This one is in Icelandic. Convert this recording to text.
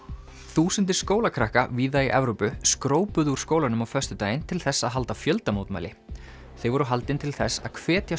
þúsundir skólakrakka víða í Evrópu úr skólanum á föstudaginn til þess að halda fjöldamótmæli þau voru haldin til þess að hvetja